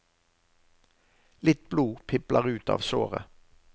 Litt blod pipler ut av såret.